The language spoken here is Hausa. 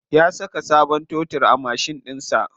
Ya saka sabon totur a mashin ɗinsa.